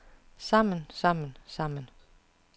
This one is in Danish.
sammen sammen sammen